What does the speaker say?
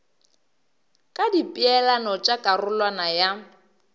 ka dipeelano tša karolwana ya